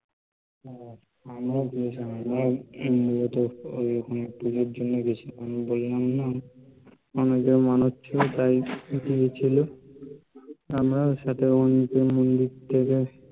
হ্যা, আমরা ও দিয়েছিলাম. আমরা মূলত ঐ পূজোর জন্য গিয়েছিলাম, বললাম না আমার বন্ধুর মানত ছিলো তাই দিতে গেছিলো, আমরাও সাথে মন্দিরে গেছিলাম